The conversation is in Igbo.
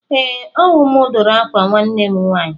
Ee, ọ wụ mụ dụrụ ákwà nwanne m nwaanyị.